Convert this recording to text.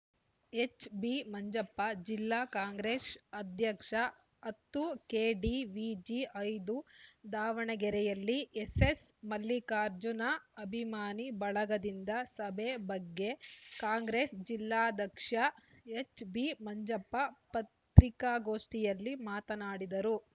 H B Manjappa ಜಿಲ್ಲಾ ಕಾಂಗ್ರೆಸ್‌ ಅಧ್ಯಕ್ಷ ಹತ್ತು ಕೆಡಿವಿಜಿ ಐದು ದಾವಣಗೆರೆಯಲ್ಲಿ ಎಸ್ಸೆಸ್‌ ಮಲ್ಲಿಕಾರ್ಜುನ ಅಭಿಮಾನಿ ಬಳಗದಿಂದ ಸಭೆ ಬಗ್ಗೆ ಕಾಂಗ್ರೆಸ್‌ ಜಿಲ್ಲಾಧ್ಯಕ್ಷ ಎಚ್‌ಬಿ ಮಂಜಪ್ಪ ಪತ್ರಿಕಾಗೋಷ್ಠಿಯಲ್ಲಿ ಮಾತನಾಡಿದರು